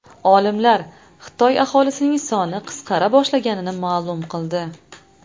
Olimlar Xitoy aholisining soni qisqara boshlaganini ma’lum qildi.